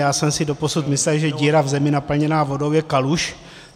Já jsem si doposud myslel, že díra v zemi naplněná vodou je kaluž.